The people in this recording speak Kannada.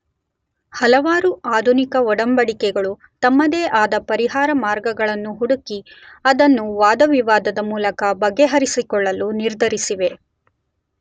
ಹಲವಾರು ಆಧುನಿಕ ಒಡಂಬಡಿಕೆಗಳು ತಮ್ಮದೇ ಆದ ಪರಿಹಾರ ಮಾರ್ಗಗಳ ಹುಡುಕಿ ಅದನ್ನು ವಾದ-ವಿವಾದದ ಮೂಲಕ ಬಗೆಹರಿಸಿಕೊಳ್ಳಲು ನಿರ್ಧರಿಸಿವೆ.